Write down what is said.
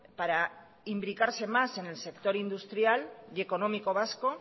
para imbricarse más en el sector industrial y económico vasco